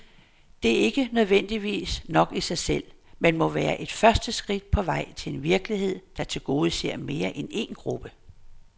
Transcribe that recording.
Det er ikke nødvendigvis nok i sig selv, men må være et første skridt på vej til en virkelighed, der tilgodeser mere end en gruppe.